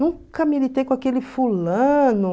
Nunca militei com aquele fulano.